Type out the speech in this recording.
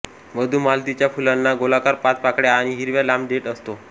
मधुमालतीच्या फुलांना गोलाकार पाच पाकळ्या आणि हिरवा लांब देठ असतो